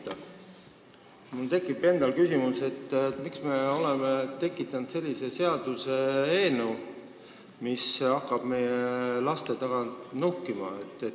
Ka mul endal tekib küsimus, miks me oleme teinud sellise seaduseelnõu, millega hakatakse meie laste taga nuhkima.